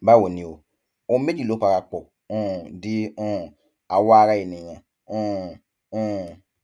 báwo ni o ohun méjì ló parapọ um di um àwọ ara ènìyàn um um